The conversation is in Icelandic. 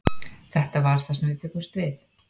Þetta var það sem við bjuggumst við.